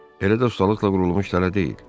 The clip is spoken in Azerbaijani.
Elə də ustalıqla qurulmuş tələ deyil.